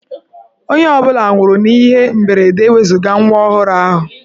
Onye ọ bụla nwụrụ n'ihe mberede ewezuga nwa ọhụrụ ahụ.